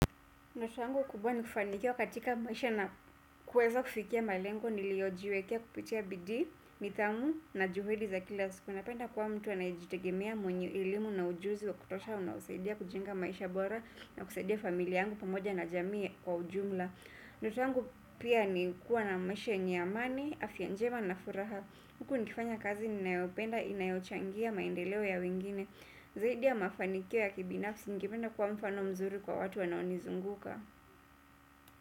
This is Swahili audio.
Maisha yangu kubwa ni kufanikiwa katika maisha na kuwezo kufikia malengo niliojiwekea kupitia bidii, nidhamu na juhudi za kila siku. Napenda kuwa mtu anayejitegemea mwenye elimu na ujuzi wa kutosha unaosaidia kujenga maisha bora na kusaidia familia yangu pamoja na jamii kwa ujumla. Maisha yangu pia ni kuwa na maisha yenye amani, afya njema na furaha. Huku nikifanya kazi ninayopenda, inayochangia maendeleo ya wengine. Zaidi ya mafanikio ya kibinafsi ningependa kuwa mfano mzuri kwa watu wanaonizunguka.